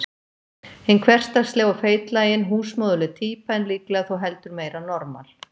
Hin hversdagsleg og feitlagin, húsmóðurleg týpa, en líklega þó heldur meira normal.